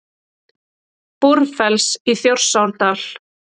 Búrfells í Þjórsárdal.